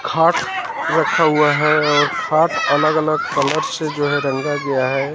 खाट रखा हुआ है और सात अलग अलग कलर से जो है रंगा गया है।